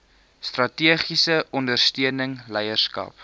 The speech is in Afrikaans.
strategiese ondersteuning leierskap